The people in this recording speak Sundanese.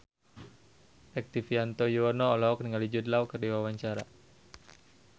Rektivianto Yoewono olohok ningali Jude Law keur diwawancara